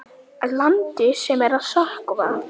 Landi sem er að sökkva.